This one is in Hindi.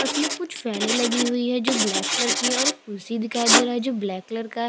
उसमे कुछ फ़ैने लगी हुई है जो ब्लैक कलर की है और एक कुर्सी दिखाई दे रही है जो ब्लैक कलर का है।